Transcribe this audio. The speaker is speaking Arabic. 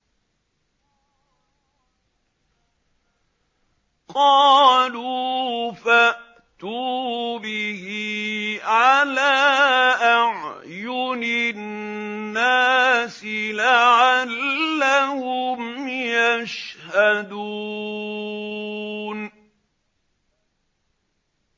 قَالُوا فَأْتُوا بِهِ عَلَىٰ أَعْيُنِ النَّاسِ لَعَلَّهُمْ يَشْهَدُونَ